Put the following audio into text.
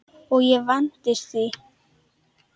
Og ég vandist því.